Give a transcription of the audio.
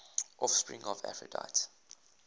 offspring of aphrodite